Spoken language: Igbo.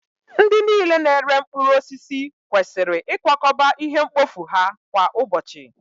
Ndị niile na-ere mkpụrụ osisi kwesịrị ịkwakọba ihe mkpofu ha kwa ụbọchị!